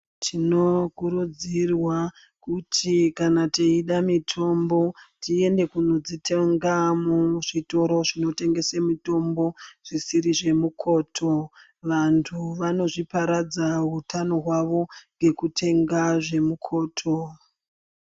Tinokurudzirwa kuti kana teida mitombo tiende kunodzitenga muzvitoro zvinotengesa mitombo zvisiri zvemukoto. Vantu vanozviparadza utano hwavo ngekutenga zvemukoto.